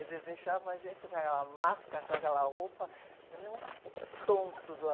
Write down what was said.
Eles deixavam a gente com aquela máscara, com aquela roupa, que nem uns tontos lá.